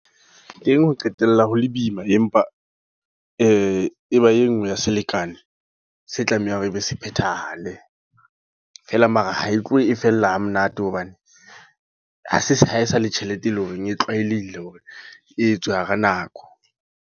Teng ho qetella ho le boima. Empa e ba e nngwe ya selekane, se tlameha hore ebe se phethahale. Feela mara ha e tlohe e fella ha monate. Hobane, ha se sa hae sa le tjhelete e leng hore e tlwaelehile hore e etswe hara nako.